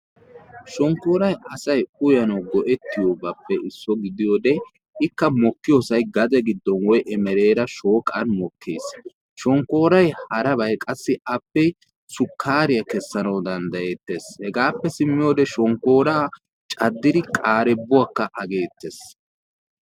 Shonkkoorayi asayi uyanawu go"ettiyobaappe isso gidiyode ikka mokkiyosayi gade giddon woyi emereera shooqan mokkes. Shonkkooyi harabayi qassi appe sukkaariya kessanawu danddayettes. Hegaappe simmiyode shonkkooraa caddidi qaarebbuwakka ageettes.